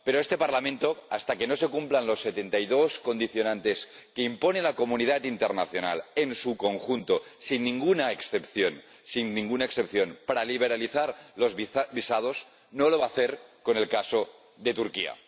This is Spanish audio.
Pero, este Parlamento, hasta que no se cumplan las setenta y dos condiciones que impone la comunidad internacional en su conjunto, sin ninguna excepción, sin ninguna excepción, para liberalizar los visados, no lo va a hacer con el caso de Turquía.